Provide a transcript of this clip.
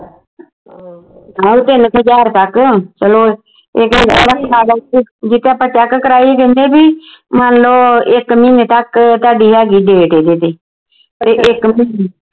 ਹਾਂ ਵੀ ਤਿੰਨ ਕੁ ਹਜਾਰ ਤੱਕ ਚਲੋ ਜੇ ਤਾਂ ਆਪਾਂ check ਕਰਾਈ ਕਹਿੰਦੇ ਵੀ ਮਨ ਲੋ ਇਕ ਮਹੀਨੇ ਤੱਕ ਥੋਡੀ ਹੈਗੀ date ਜੇ ਪਰ ਇਕ ਮਹੀਨੇ